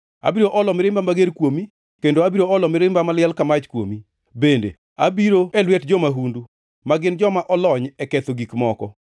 Abiro olo mirimba mager kuomi kendo abiro olo mirimba maliel ka mach kuomi; bende abiro e lwet jo-mahundu, ma gin joma olony e ketho gik moko.